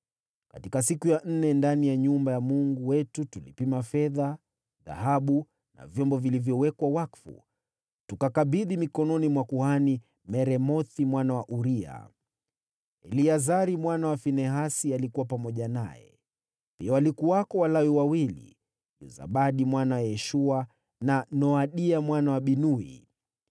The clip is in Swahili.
Katika siku ya nne, ndani ya nyumba ya Mungu wetu, tulipima fedha, dhahabu na vyombo vilivyowekwa wakfu, tukakabidhi mikononi mwa kuhani Meremothi mwana wa Uria. Eleazari mwana wa Finehasi alikuwa pamoja naye, pia walikuwako Walawi wawili, Yozabadi mwana wa Yeshua na Noadia mwana wa Binui.